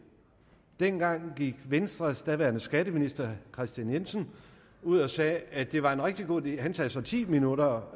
dengang gik venstres daværende skatteminister herre kristian jensen ud og sagde at det var en rigtig god idé han sagde så ti minutter